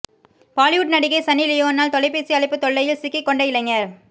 பாலிவுட் நடிகை சன்னி லியோனால் தொலைபேசி அழைப்பு தொல்லையில் சிக்கிக் கொண்ட இளைஞர்